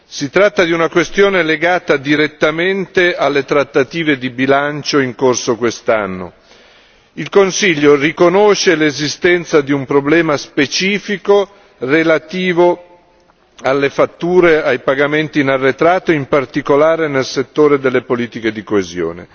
Si tratta di una questione legata direttamente alle trattative di bilancio in corso quest'anno. Il Consiglio riconosce l'esistenza di un problema specifico relativo alle fatture, ai pagamenti in arretrato, in particolare nel settore delle politiche di coesione.